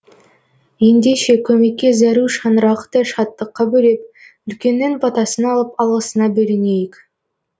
ендеше көмекке зәру шаңырақты шаттыққа бөлеп үлкеннің батасын алып алғысына бөленейік